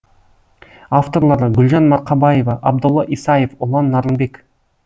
авторлары гүлжан марқабаева абдолла исаев ұлан нарынбек